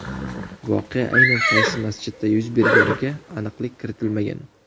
Voqea aynan qaysi masjidda yuz berganiga aniqlik kiritilmagan.